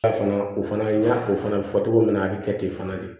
Ta fana o fana n y'a o fana fɔ cogo min na a bɛ kɛ ten fana de